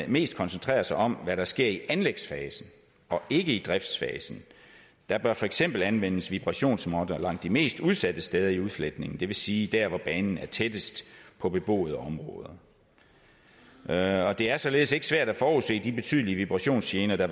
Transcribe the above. mest koncentrerer sig om hvad der sker i anlægsfasen og ikke i driftsfasen der bør for eksempel anvendes vibrationsmåtter langs de mest udsatte steder i udfletningen det vil sige der hvor banen er tættest på beboede områder det er således ikke svært at forudse de betydelige vibrationsgener der